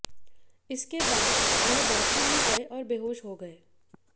इसके बाद वह बाथरूम में गए और बेहोश हो गए